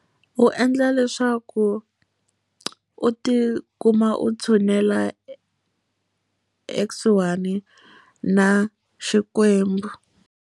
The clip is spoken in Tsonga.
U endla leswaku u ti kuma u tshunela ekusuhani na Xikwembu.